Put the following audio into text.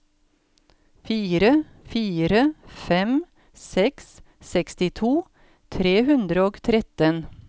fire fire fem seks sekstito tre hundre og tretten